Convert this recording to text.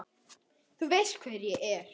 Þú veist hver ég er.